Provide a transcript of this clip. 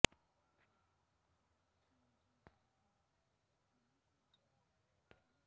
कर्नाटकातील पाजकक्षेत्र या गावी विलंबीनाम संवत्सरातील अश्विन शुद्ध दशमीला झाला